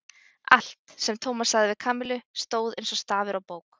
Allt, sem Tómas sagði við Kamillu, stóð eins og stafur á bók.